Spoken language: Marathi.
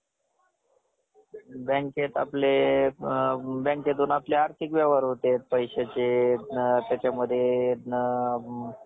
अशीच माजघराच्या दारात, छोट्या नातवंडाला मांडीवर घेऊन तृप्त मानाने, सगळ्यांना न्याहाळत असे. आणि आम्ही नातवंड ice cream कधी मिळणार? म्हणून लकडा लावत असत.